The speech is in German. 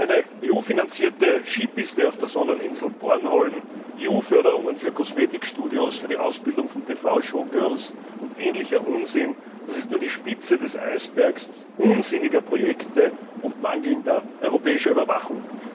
Eine EU finanzierte Skipiste auf der Sonneninsel Bornholm, EU Förderungen für Kosmetikstudios, für die Ausbildung von TV Showgirls und ähnlicher Unsinn Das ist nur die Spitze des Eisbergs unsinniger Projekte und mangelnder europäischer Überwachung.